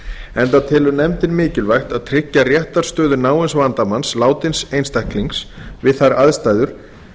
enda telur nefndin mikilvægt að tryggja réttarstöðu náins vandamanns látins einstaklings við þær aðstæður